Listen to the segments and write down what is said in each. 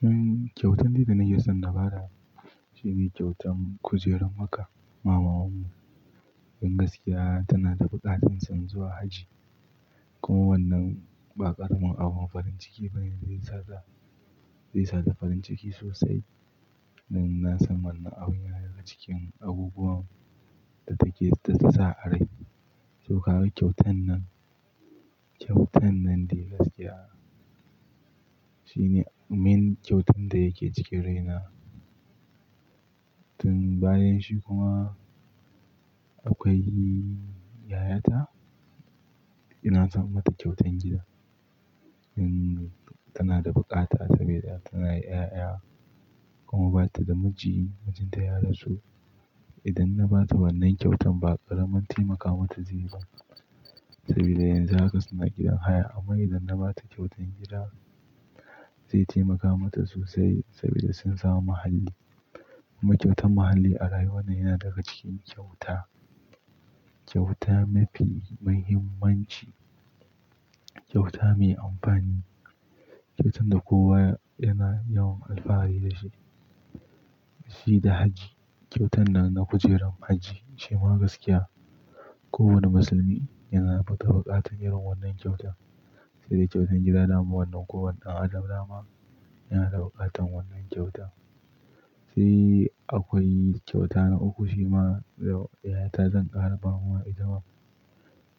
Hmm kyautan dai da nake son na ba da shi ne kyautan kujerar maka. Wa mamanmu, don gaskiya, tana da buƙatar son zuwa hajji. Kuma wannan ba ƙaramin abun farin ciki ba ne, zai sa ta farin ciki sosai. Na san wannan abun yana daga cikin abubuwan da take ta sa a rai. To, kawai kyautan nan, kyautan nan dai gaskiya shine main kyautan da yake cikin raina. Tun bayan shi kuma akwai yayata. Ina son mata kyautan gida. In tana da buƙata saboda tana da 'ya'ya kuma ba ta da miji. Mijinta ya rasu. Idan na ba ta wannan kyautan ba ƙaramin taimaka mata zai ba. Saboda yanzu haka suna gidan haya. Amma idan na ba ta kyautan gida zai taimaka mata sosai saboda sun samu muhalli. Kuma kyautan muhalli a rayuwana yana daga cikin kyauta, kyauta mafi muhimmanci, kyauta mai amfani, kyautan da kowa yana yawan alfahari da shi. Shi da hajji. Kyautan nan na kujerar hajji shima gaskiya. Kowanne musulmi yana ta buƙata irin wannan kyauta. Sai dai kyautan gida na ma wannan kowane ɗan adam ama yana da buƙatar wannan kyauta. Sai akwai kyauta na uku shima yayata zan ƙara ba wa idan,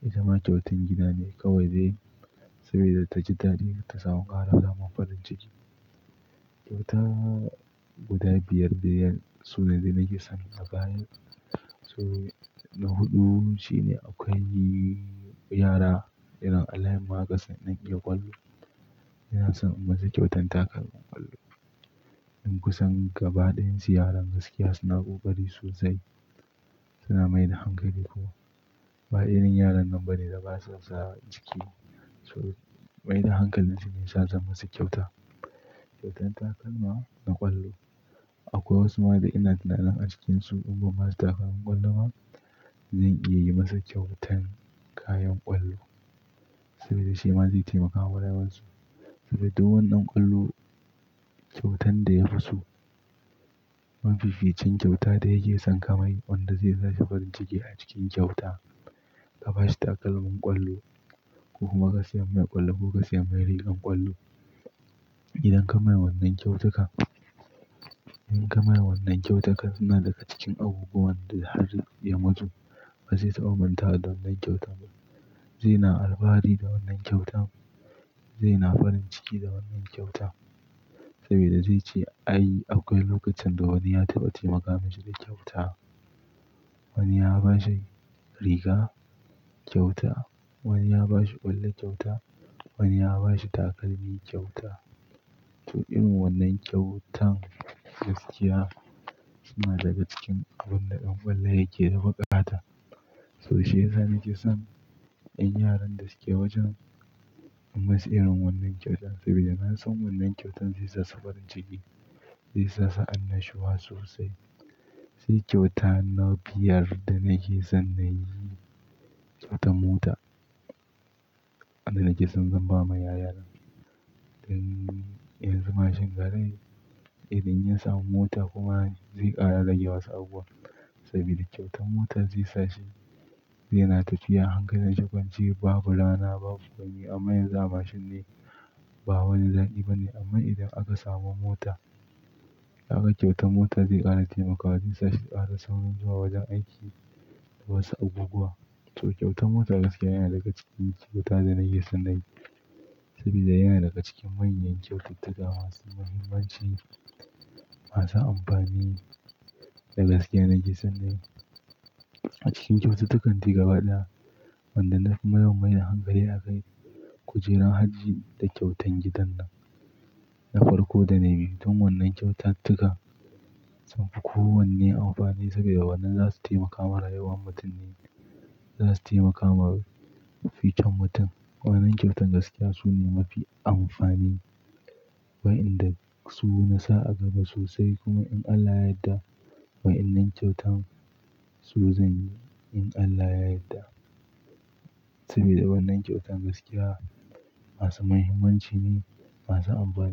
idan ma kyautan gida ne kawai dai. Saboda ta ji daɗi ta samu ƙara fama farin ciki. Kyauta guda biyar, biyar su ne da nake son naga an yi. To na huɗu shine akwai yara irin a layinmu haka sun ɗan iya ƙwallo. Ina son in yi masa kyautan takalmin ƙwallo. Don kusan gabaɗayan su yaran gaskiya suna ƙoƙari sosai. Suna mai da hankali kuma. Ba irin yaran nan bane da basu sa a ciki. To maida hankalin shi ne ya sa za masa kyauta. Kyautan takalma na ƙwallo. Akwai wasu ma da ina tunanin a cikinsu in ba masu takalman ƙwallo ma zan iya yi masa kyautan kayan ƙwallo. Saboda shi ma zai taimaka wa rayuwarsu. Saboda duk wani ɗan ƙwallo kyautan da ya fi so. Mafificin kyauta da yake son ka mai wanda zai sa shi farin ciki a cikin kyauta. Ka ba shi takalmin ƙwallo ko kuma ka sayan mai ƙwallo ko ka sayan mai rigar ƙwallo. Idan ka mai wannan kyautuka, idan ka mai wannan kyautuka suna daga cikin abubuwan da har ya mutu ba zai taɓa manta da wannan kyauta ba. Zai na alfahari da wannan kyauta. Zai na farin ciki da wannan kyauta saboda zai ce, ai akwai lokacin da wani ya taɓa taimaka masa da kyauta. Wani ya ba shi riga kyauta. Wani ya ba shi ƙwallo kyauta. Wani ya ba shi takalmi kyauta. To irin wannan kyautan gaskiya suna daga cikin abun da ɗan ƙwallo yake da buƙata. So shi yasa nake son ƴan yaran da suke wajen in masu irin wannan kyautan saboda na san wannan kyautan zai sa su farin ciki, zai sa su annashuwa sosai. Sai kyauta na biyar da nake son na yi kyautan mota. Wadda nake son zan ba ma yayana. Tun yanzu mashin garai. Idan ya samu mota kuma zai ƙara rage wasu abubuwa. Saboda kyautan motar zai sa shi zai na tafiya a hankalin shugaban ji. Babu rana, babu gani. Amma yanzu a mashin ne ba wani zaki ba ne. Amma idan aka samu mota da aka kyautar motar zai ƙara taimakawa. Zai sa su ƙara saurin zuwa wajen aiki da wasu abubuwa. To kyautan mota gaskiya yana daga cikin kyauta da nake son na yi. Saboda yana daga cikin manyan kyaututtuka masu muhimmanci, masu amfani da gaskiya nake son na yi. A cikin kyaututtukan ti gaba ɗaya wanda na fi yawan mai da hankali aka yi kujerar hajji da kyautan gidan nan na farko da na biyu. Tun wannan kyaututtuka sunfi kowanne amfani saboda wannan za su taimaka mara yawan mutane za su taimaka ma fitan mutum. Wannan kyautan gaskiya su ne mafi amfani. Wa'inda su na sa a gaba sosai. Kuma in Allah ya yadda wa'innan kyautan su zan yi in Allah ya yadda. Saboda wannan kyautan gaskiya masu muhimmanci ne, masu amfani.